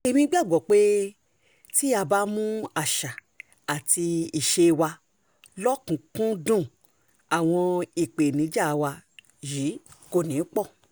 èmi gbàgbọ́ pé tá a bá mú àṣà àti ìṣe wa lọ́kùn-ún-kùn-ún-dún àwọn ìpèníjà wa yìí kò ní í pọ̀